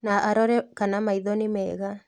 Na arore kana maitho nĩ mega